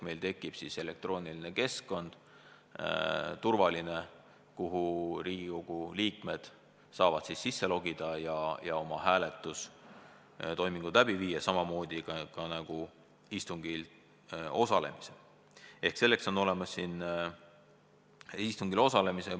Meil tekib turvaline elektrooniline keskkond, kuhu Riigikogu liikmed saavad sisse logida ja oma hääletustoimingud läbi viia samamoodi nagu siin saalis istungil osaledes.